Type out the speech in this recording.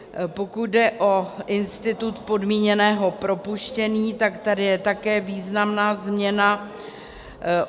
Pokud jde o institut podmíněného propuštění, tak tady je také významná změna.